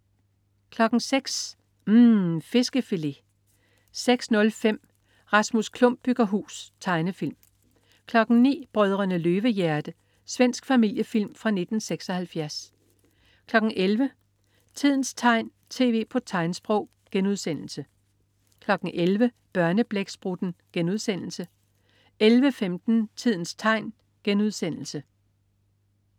06.00 UMM. Fiskefilet 06.05 Rasmus Klump bygger hus. Tegnefilm 09.00 Brødrene Løvehjerte. Svensk familiefilm fra 1976 11.00 Tidens tegn, tv på tegnsprog* 11.00 Børneblæksprutten* 11.15 Tidens tegn*